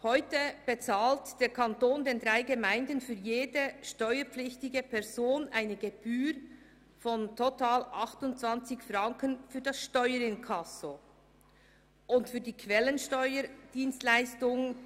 Heute bezahlt der Kanton den drei Gemeinden für jede steuerpflichtige Person eine Gebühr von total 28 Franken für das Steuerinkasso und 6,25 Franken pro Abrechnungszeile für die Quellensteuer-Dienstleistung.